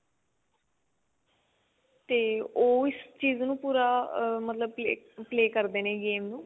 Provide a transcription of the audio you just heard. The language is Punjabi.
ਤੇ ਉਹ ਇਸ ਚੀਜ਼ ਨੂੰ ਪੂਰਾ ah ਮਤਲਬ ਕੀ play ਕਰਦੇ ਨੇ game ਨੂੰ